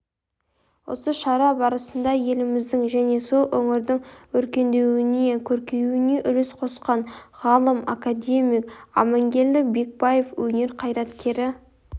осы шара барысында еліміздің және сол өңірдің өркендеуіне көркеюіне үлес қосқан ғалым-академик аманкелді бекбаев өнер қайраткері